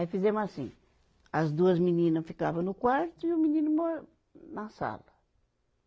Aí fizemo assim, as duas menina ficava no quarto e o menino mo na sala.